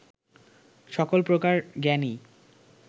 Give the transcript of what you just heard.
সকল প্রকার জ্ঞানই